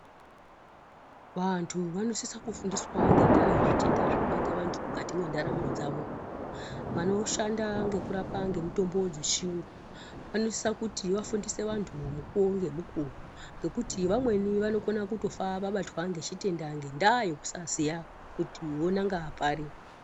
Vantu vanosisa kufundiswa ngendaa yezvitenda zvinobata vantu mukati mwendaramo dzavo. Vanoshanda ngekurapa vantu ngemitombo dzechiyungu, vanosisa kuti vafundise vantu, mukuwo ngemukuwo, ngekuti vamweni vanokone kufa vabatwa ngechitenda, ngendaa yekusaziya kuti vonanga pari.